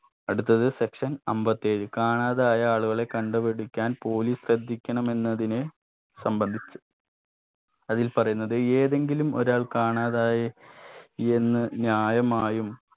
അടുത്തത് section അമ്പത്തി ഏഴ് കാണാതായ ആളുകളെ കണ്ടുപിടിക്കാൻ police ശ്രദ്ധിക്കണമെന്നതിന് സംബന്ധിച്ച് അതിൽ പറയുന്നത് ഏതെങ്കിലും ഒരാൾ കാണാതായി എന്ന് ന്യായമായും